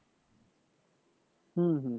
হম হম